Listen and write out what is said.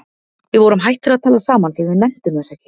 Við vorum hættir að tala saman því við nenntum þessu ekki.